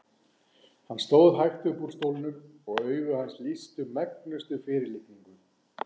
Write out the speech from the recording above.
Hann stóð hægt upp úr stólnum og augu hans lýstu megnustu fyrirlitningu.